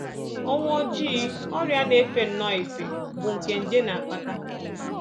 Ọnwụ Ojii: Ọrịa na-efe nnọọ efe bụ́ nke nje na-akpata